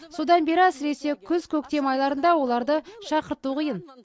содан бері әсіресе күз көктем айларында оларды шақырту қиын